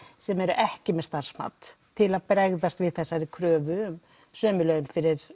sem eru ekki með starfsmat til að bregaðst við þeirri kröfu um sömu laun fyrir